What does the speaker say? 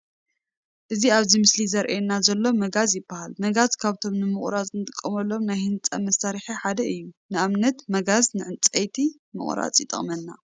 እቲ ኣብዚ ምስሊ ዝረኣየና ዘሎ መጋዝ ይባሃል። መጋዝ ካብቶም ንምቁራፅ ንጥቀመሎም ናይ ህንፃ መሳርሒ ሓደ እዩ። ንኣብነት መጋዝ ዕንፀይቲ ንምቁራፅ ይጠቅመና።